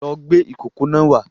Lọ gbé ìkókó náà wá